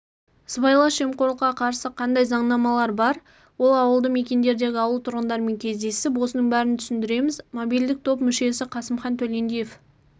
сыбайлас жемқорлыққа қарсы қандай заңнамалар бар ауылды мекендердегі ауыл тұрғындарымен кездесіп осының бәрін түсіндіреміз мобильдік топ мүшесі қасымхан төлендиев